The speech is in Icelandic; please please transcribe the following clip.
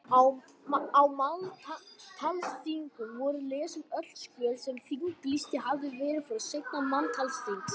Á manntalsþingum voru lesin öll skjöl sem þinglýst hafði verið frá seinasta manntalsþingi.